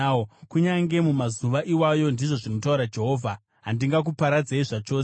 “Kunyange mumazuva iwayo,” ndizvo zvinotaura Jehovha, “handingakuparadzei zvachose.